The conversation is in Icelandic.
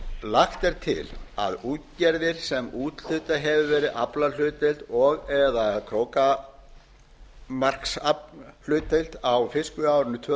lagt er til að útgerðir sem úthlutað hefur verið aflahlutdeild á árinu tvö